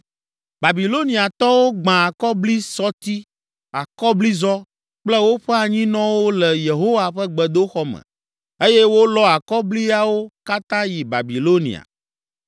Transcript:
Babiloniatɔwo gbã akɔblisɔti, akɔblizɔ kple woƒe anyinɔwo le Yehowa ƒe gbedoxɔ me eye wolɔ akɔbliawo katã yi Babilonia.